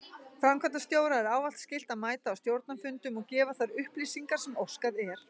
Framkvæmdastjóra er ávallt skylt að mæta á stjórnarfundum og gefa þær upplýsingar sem óskað er.